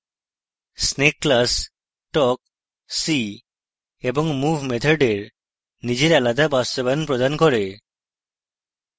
snake class talk see এবং move মেথডের নিজের আলাদা বাস্তবায়ন প্রদান করে